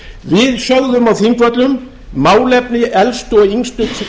við sögðum á þingvöllum málefni elstu og yngstu